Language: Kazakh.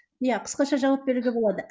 иә қысқаша жауап беруге болады